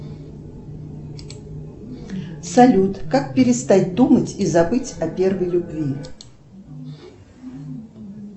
салют как перестать думать и забыть о первой любви